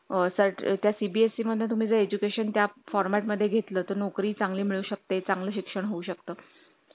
अ त्या CBSE मध्ये तुम्ही education त्या format मध्ये घेतलं तर नोकरी चांगली मिळू शकते चांगले शिक्षण होऊ शकतं